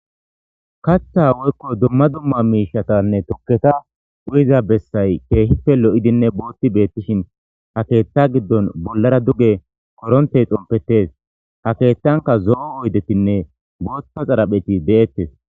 Kata woyko duma duma mishatanne tuketa uyiza besay kehipe lo'idinne qonc'i betishin ha ketha gidon bolara duge korente dhompetes ha ketanka zo'o oydetinne botha xarapheti detes.